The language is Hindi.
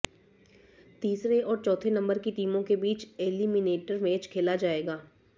तीसरे और चौथे नंबर की टीमों के बीच ऐलिमिनेटर मैच खेला जाएगा